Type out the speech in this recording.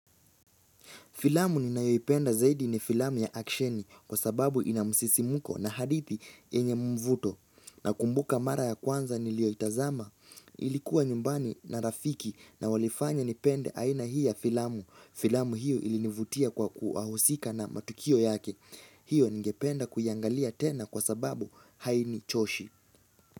Filamu ninayoipenda zaidi ni filamu ya aksheni kwa sababu ina msisimuko na hadithi yenye mvuto. Nakumbuka mara ya kwanza niliyoitazama ilikuwa nyumbani na rafiki na walifanya nipende aina hii ya filamu. Filamu hiyo ilinivutia kwa wahusika na matukio yake. Hiyo ningependa kuiangalia tena kwa sababu hainichoshi.